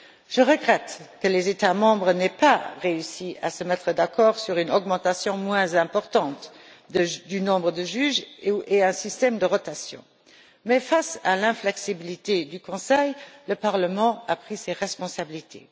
Je regrette que les États membres n'aient pas réussi à se mettre d'accord sur une augmentation moins importante du nombre de juges et sur un système de rotation mais, face à l'inflexibilité du Conseil, le Parlement a pris ses responsabilités.